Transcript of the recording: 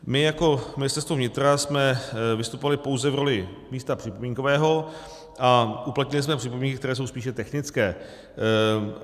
My jako Ministerstvo vnitra jsme vystupovali pouze v roli místa připomínkového a uplatnili jsme připomínky, které jsou spíše technické.